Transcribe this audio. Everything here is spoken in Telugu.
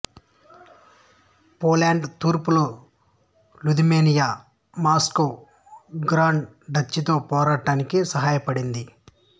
పోలాండ్ తూర్పులో లిథువేనియా మాస్కో గ్రాండ్ డచీతో పోరాడటానికి సహాయపడింది